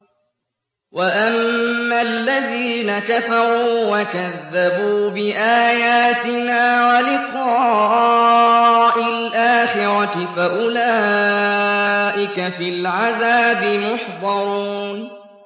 وَأَمَّا الَّذِينَ كَفَرُوا وَكَذَّبُوا بِآيَاتِنَا وَلِقَاءِ الْآخِرَةِ فَأُولَٰئِكَ فِي الْعَذَابِ مُحْضَرُونَ